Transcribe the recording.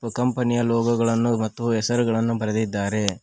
ಕಂಪನಿಯ ಲೋಗೋ ಗಳನ್ನು ಮತ್ತು ಹೆಸರುಗಳನ್ನು ಬರೆದಿದ್ದಾರೆ.